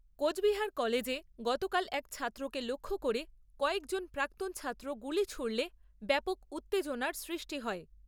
কোচবিহার কলেজে গতকাল এক ছাত্রকে লক্ষ্য করে কয়েকজন প্রাক্তন ছাত্র গুলি ছুঁড়লে ব্যাপক উত্তেজনার সৃষ্টি হয়।